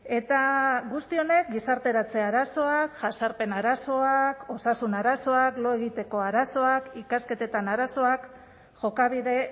eta guzti honek gizarteratze arazoa jazarpen arazoak osasun arazoak lo egiteko arazoak ikasketetan arazoak jokabide